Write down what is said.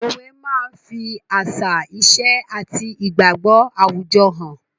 Òwe máa ń fi àṣà, ìṣe àti igbagbo àwùjọ hàn.